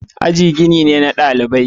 Aji gini ne na dalibai.